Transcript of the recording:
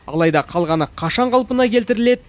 алайда қалғаны қашан қалпына келтіріледі